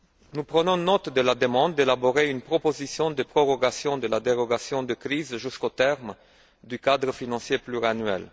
Nous prenons note de la demande d'élaborer une proposition de prorogation de la dérogation de crise jusqu'au terme du cadre financier pluriannuel.